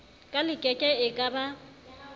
ka lekeke e ka ba